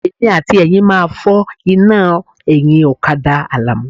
Èmi àti Ẹ̀yin máa fọ́ iná ẹ̀yìn ọ̀kadà Àlàmú.